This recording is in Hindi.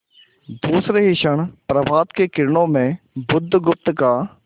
दूसरे ही क्षण प्रभात की किरणों में बुधगुप्त का